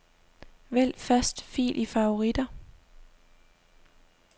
Vælg første fil i favoritter.